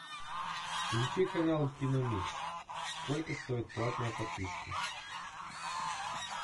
включи канал киномикс сколько стоит платная подписка